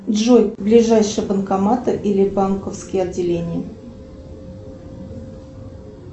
джой ближайшие банкоматы или банковские отделения